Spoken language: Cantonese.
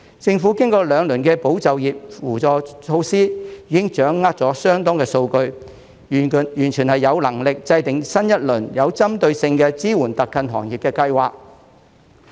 政府經過兩輪的保就業扶助措施，已經掌握相當數據，完全有能力製訂新一輪有針對性的支援特困行業的計劃。